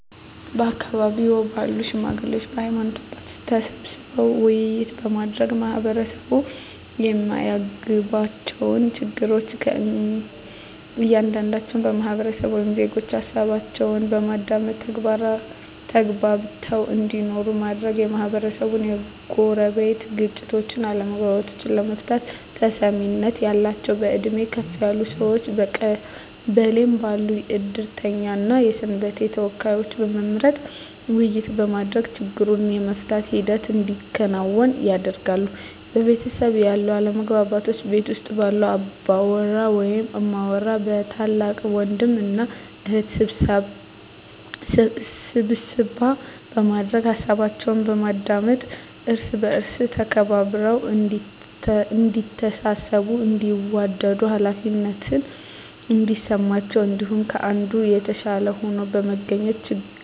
በአካባቢው ባሉ ሽማግሌዎች በሀይማኖት አባቶች ተሰብስበው ውይይት በማድረግ ማህበረሰቡ የማያግባባቸውን ችግር ከእያንዳንዱ ህብረተሰብ ወይም ዜጎች ሀሳባቸውን በማዳመጥ ተግባብተው እንዲኖሩ ማድረግ, የማህበረሰቡን የጎረቤት ግጭቶችን አለመግባባቶችን ለመፍታት ተሰሚነት ያላቸውን በእድሜ ከፍ ያሉ ሰዎችን በቀበሌው ባሉ የእድርተኛ እና የሰንበቴ ተወካዮችን በመምረጥ ውይይት በማድረግ ችግሩን የመፍታት ሂደት እንዲከናወን ያደርጋሉ። በቤተሰብ ያሉ አለመግባባቶችን ቤት ውስጥ ባሉ አባወራ ወይም እማወራ በታላቅ ወንድም እና እህት ስብሰባ በማድረግ ሀሳባቸውን በማዳመጥ እርስ በእርስ ተከባብረው እዲተሳሰቡ እንዲዋደዱ ሃላፊነት እንዲሰማቸው አንዱ ከአንዱ የተሻለ ሆኖ በመገኘት ችግርን በማስዎገድ መግባባትን መፍጠር።